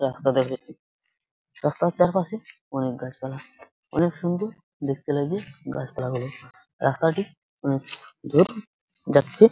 রাস্তা দেখা যাচ্ছে রাস্তার চারপাশে অনেক গাছপালা অনেক সুন্দর দেখতে লাগছে গাছপালা গুলো রাস্তাটি যাচ্ছে।